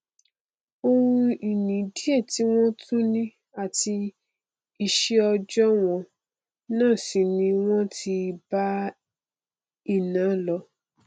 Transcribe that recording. oun ìní díẹ tí wọn tún ni àti iṣẹòòjọ wọn náà sì ni wọn ti bá iná lọ